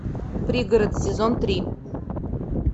пригород сезон три